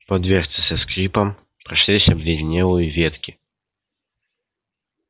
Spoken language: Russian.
по дверце со скрипом прошлись обледенелые ветки